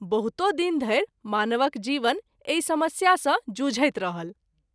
बहुतो दिन धरि मानवक जीवन एहि समस्या सँ जुझैत रहल।